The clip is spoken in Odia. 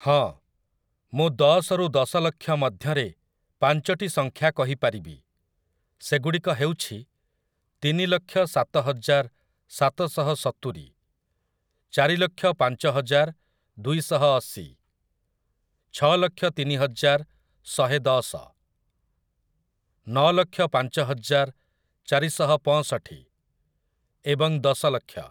ହଁ ମୁଁ ଦଶରୁ ଦଶଲକ୍ଷ ମଧ୍ୟରେ ପାଞ୍ଚଟି ସଂଖ୍ୟା କହିପାରିବି, ସେଗୁଡ଼ିକ ହେଉଛି ତିନିଲକ୍ଷ ସାତହଜାର ସାତଶହ ସତୁରି, ଚାରିଲକ୍ଷ ପାଞ୍ଚହଜାର ଦୁଇଶହ ଅଶି, ଛଅଲକ୍ଷ ତିନିହଜାର ଶହେ ଦଶ, ନଅଲକ୍ଷ ପାଞ୍ଚହଜାର ଚାରିଶହ ପଅଁଷଠି, ଏବଂ ଦଶଲକ୍ଷ ।